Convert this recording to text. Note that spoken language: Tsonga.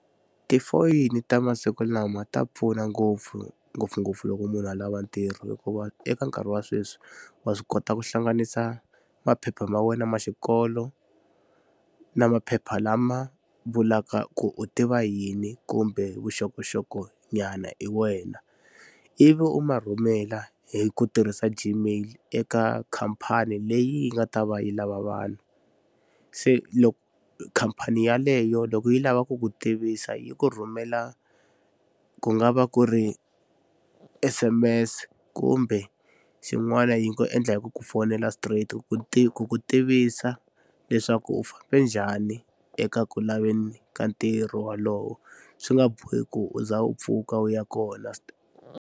Tifoyini ta masiku lama ta pfuna ngopfu ngopfungopfu loko munhu a lava ntirho hikuva eka nkarhi wa sweswi wa swi kota ku hlanganisa maphepha ma wena ma xikolo na maphepha lama vulaka ku u tiva yini kumbe vuxokoxokonyana hi wena ivi u ma rhumela hi ku tirhisa Gmail eka khampani leyi yi nga ta va yi lava vanhu. Se khampani yaleyo loko yi lava ku ku tivisa yi ku rhumela ku nga va ku ri S_M_S kumbe xin'wana yi ku endla hi ku ku fonela straight ku ku ku tivisa leswaku u fambe njhani eka ku laveni ka ntirho wolowo swi nga bohi ku u za u pfuka u ya kona .